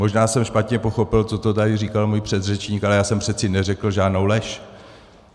Možná jsem špatně pochopil to, co tady říkal můj předřečník, ale já jsem přece neřekl žádnou lež.